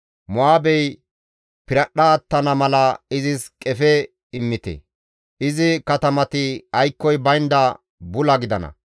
Mo7aabey piradhdha attana mala izis qefe immite; izi katamati aykkoy baynda bula gidana.